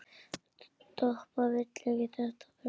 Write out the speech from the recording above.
Doppa vill ekki þetta brauð.